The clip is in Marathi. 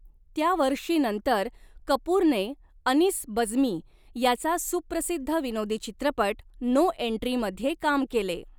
त्या वर्षी नंतर कपूरने अनीस बज्मी याचा सुप्रसिद्ध विनोदी चित्रपट नो एन्ट्री मध्ये काम केले.